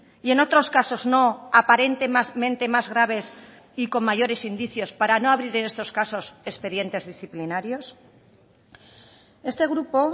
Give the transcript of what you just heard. y en otros casos no aparentemente más graves y con mayores indicios para no abrir en estos casos expedientes disciplinarios este grupo